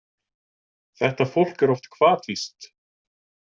Þetta fólk er oft hvatvíst.